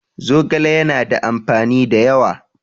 Zogale ya na da amfani da yawa